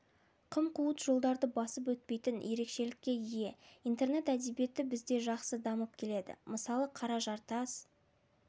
қым-қуыт жолдарды басып өтпейін ерекшелікке ие интернет әдебиеті бізде жақсы дамып келеді мысал қара жартас